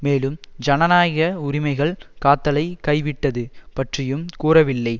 மேலும் ஜனநாயக உரிமைகள் காத்தலை கைவிட்டது பற்றியும் கூறவில்லை